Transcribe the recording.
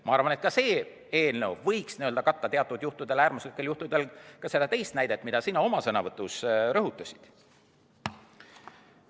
Ma arvan, et see eelnõu võiks katta teatud äärmuslikel juhtudel ka seda teist näidet, mida sina oma sõnavõtus rõhutasid.